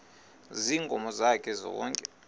ziinkomo zakhe zonke